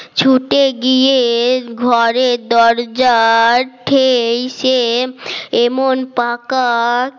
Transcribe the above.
ছুটে গিয়ে ঘরের দরজার থে সে এমন পাক